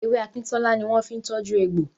Ewé akíntọ́lá ni wọ́n fi ń tọ́jú egbò.